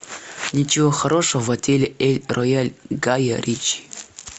ничего хорошего в отеле эль рояль гая ричи